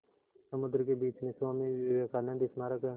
समुद्र के बीच में स्वामी विवेकानंद स्मारक है